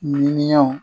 Ɲininiw